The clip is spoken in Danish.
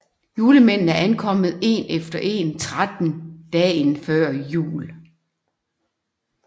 Julemændene ankommer en efter en tretten dagen før jul